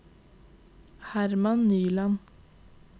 Herman Nyland